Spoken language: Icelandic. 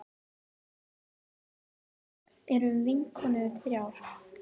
Vinkonurvið erum vinkonur þrjár.